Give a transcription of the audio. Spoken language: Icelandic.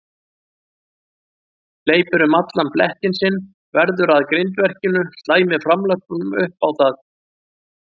Hleypur um allan blettinn sinn, veður að grindverkinu, slæmir framlöppunum upp á það.